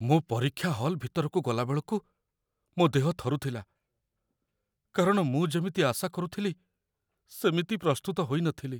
ମୁଁ ପରୀକ୍ଷା ହଲ୍ ଭିତରକୁ ଗଲାବେଳକୁ ମୋ ଦେହ ଥରୁଥିଲା, କାରଣ ମୁଁ ଯେମିତି ଆଶା କରୁଥିଲି ସେମିତି ପ୍ରସ୍ତୁତ ହୋଇନଥିଲି।